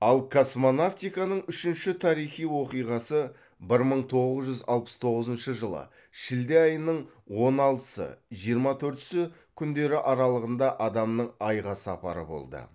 ал космонавтиканың үшінші тарихи оқиғасы бір мың тоғыз жүз алпыс тоғызыншы жылы шілде айының он алтысы жиырма төртісі күндері аралығында адамның айға сапары болды